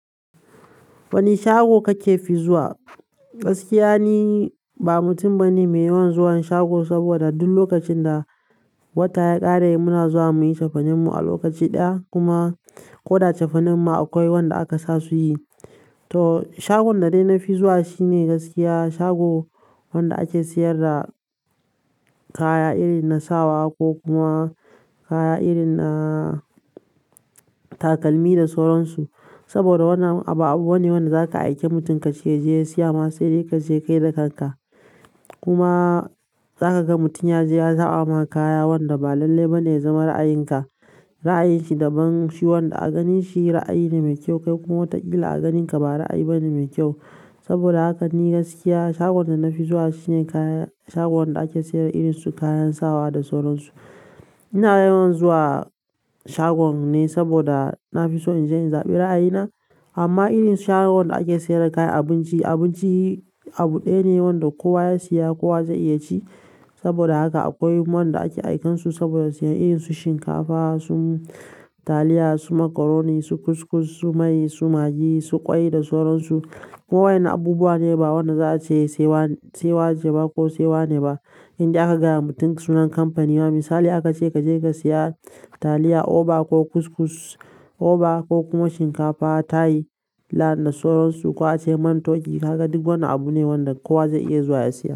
Wane shago kake fi zuwa? Gaskiya ni, ba mutum bane mai yawan zuwan shago, saboda duk lokacin da wata ya ƙare muna zuwa muyi chefa nen mu a lokaci ɗaya kuma ko da chefa nen ma akwai wanda aka sa su yi. To shagon da dai na fi zuwa shine gaskiya shago wanda ake sayar da kaya irin na sawa ko kuma kaya irin na takalmi da sauransu. Saboda wannan abu abu ne wanda zaka aike mutum ka ce ya je sayi masa, sai dai ka je kai da kan ka. Kuma za ka ga mutum ya je ya zaba ma kaya wanda ba lallai bane ya zama ra'ayinka. Ra'ayi shi daban, shi wanda a ganin shi ra'ayi ne mai kyau kai kuma watakila a ganin ka ba ra'ayi bane mai kyau. Saboda ni gaskiya shagon dana fi zuwa shine kaya shagon da ake saida irin su kayan sawa da sauransu ina yawan zuwa shagon ne saboda na fi so in je in zaɓi ra'ayi na. Amma irin su shagon da ake sayar da kayan abinci, abinci abu ɗaya ne wanda kowa ya siya kowa zai iya ci. Saboda haka akwai wanda ake aikan su saboda su yi irin su shinkafa, su taliya su macaroni, su kuskus su mai, su magi su kwai da sauransu ko wa'inan abubuwa ne ba wannan za a ce sewa, sewa ce ba ko sewa ne ba. Inda aka gaya wa mutum sunan kamfanin ma, misali aka ce ka je ka siya taliya Oba ko kuskus Oba ko kuma shinkafa Tayi da sauransu ko ace Mantoki ka ga duk wannan abu ne wanda kowa zai iya zuwa ya siya.